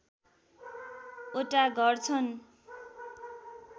वटा घर छन्